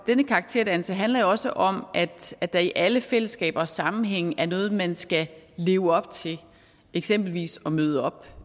denne karakterdannelse handler jo også om at der i alle fællesskaber og sammenhænge er noget man skal leve op til eksempelvis at møde op